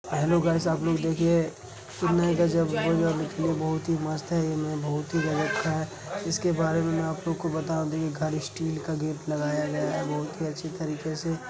Hello guys आप लोग देखिये कितना गजब बहुत ही मस्त है बोहोत ही गजब का है। इसके बारे में आपको बता दूँ यह घर स्टील का गेट लगाया गया है बोहोत ही अच्छे तरीके से--